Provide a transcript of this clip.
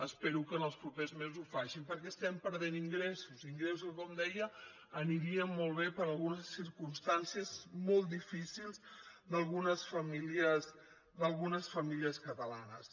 espero que els propers mesos ho facin perquè estem perdent ingressos ingressos que com deia anirien molt bé per a algunes circumstàncies molt difícils d’algunes famílies catalanes